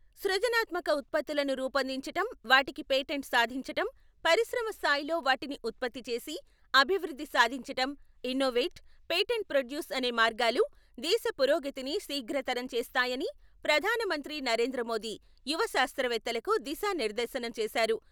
సృజనాత్మక ఉత్పత్తులను రూపొందించటం, వాటికి పేటెంట్ సాధించటం, పరిశ్రమ స్థాయిలో వాటిని ఉత్పత్తి చేసి, అభివృద్ధి సాధించటం ఇన్నోవేట్, పేటెంట్ ప్రొడ్యూస్ అనే మార్గాలు దేశ పురోగతిని శీఘ్రతరం చేస్తాయని ప్రధాన మంత్రి నరేంద్ర మోదీ యువ శాస్త్రవేత్తలకు దిశా నిర్దేశనం చేశారు.